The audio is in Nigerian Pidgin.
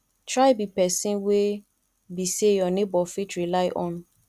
try be person wey be say your neighbor fit rely on